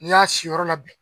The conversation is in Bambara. N'i y'a siyɔrɔ la bɛn